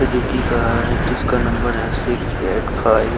Suzuki का है जिसका नंबर है सिक्स एट फाइव ।